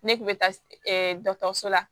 Ne kun bɛ taa dɔkɔtɔrɔso la